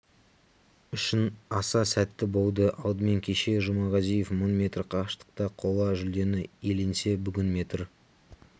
үшін аса сәтті болды алдымен кеше жұмағазиев мың метр қашықтықта қола жүлдені иеленсе бүгін метр